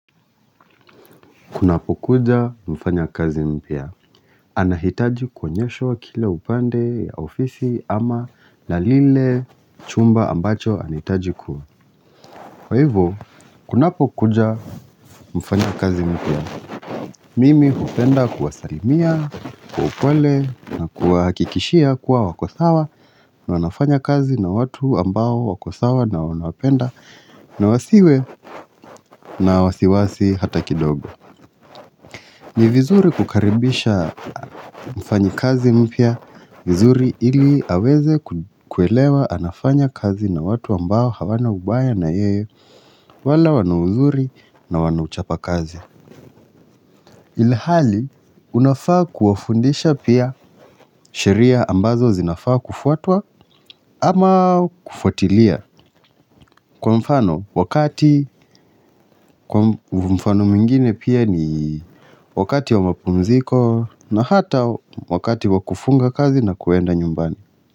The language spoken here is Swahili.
Kuna po kuja mfanya kazi mpya, anahitaji kuonyeshwa wa kile upande ya ofisi ama lalile chumba ambacho anahitaji kuwa kwa ivo, kuna po kuja mfanya kazi mpia, mimi hupenda kuwa salimia, kwa upole na kwa hakikishia kwa wakosawa na wanafanya kazi na watu ambao wakosawa na wanawapenda na wasiwe na wasiwasi hata kidogo ni vizuri kukaribisha mfanyi kazi mpya vizuri ili aweze kuelewa anafanya kazi na watu ambao hawana ubaya na yeye wala wanauzuri na wanuchapa kazi. Ilihali unafaa kuwafundisha pia sheria ambazo zinafaa kufuatwa ama kufuatilia. Kwa mfano, wakati mfano mingine pia ni wakati wa mapunziko na hata wakati wa kufunga kazi na kuenda nyumbani.